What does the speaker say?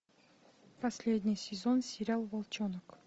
последний сезон сериал волчонок